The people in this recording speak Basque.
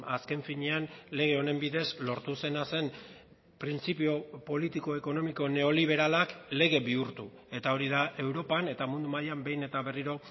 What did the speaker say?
azken finean lege honen bidez lortu zena zen printzipio politiko ekonomiko neoliberalak lege bihurtu eta hori da europan eta mundu mailan behin eta berriro